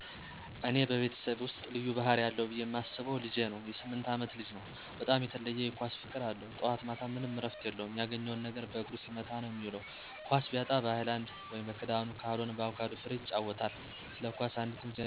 በእኔ ቤተሰብ ውስጥ ልዩ ባህሪ አለው ብየ ማስበው ልጄ ነው.የ 8አመት ልጅ ነው, በጣም የተለየ የ ኳስ ፍቅር አለው. ጠዋት ማታም ምንም እረፍት የለውም ያገኘውን ነገር በእግሩ ሲመታ ነዉ የሚዉል. ኳስ ቢያጣ በ ሀይላንድ (በክዳኑ)ካልሆነም በአቩካዶ ፍሬ ይጫወታል። ስለ ኳስ አንዲትም ዜና አታመልጠውም .የ ክለቦች ስም፣ የተጨዋቾች ስም ሁሉንም ያውቃቸዋል። የ ሰፈር ልጆች CR7 ይሉታል የ ክርስቲያን ሮላንዶ አድናቂ ስለሆነ።